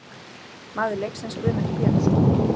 Maður leiksins: Guðmundur Pétursson.